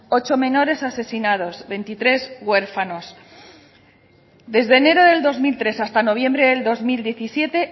ocho menores asesinados veintitrés huérfanos desde enero del dos mil tres hasta noviembre del dos mil diecisiete